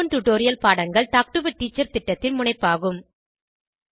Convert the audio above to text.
spoken tutorial பாடங்கள் talk to a teacher திட்டத்தின் முனைப்பாகும்